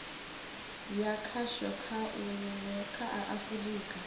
ya khasho kha a afurika